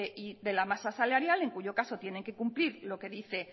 de la masa salarial en cuyo caso tiene que cumplir lo que dice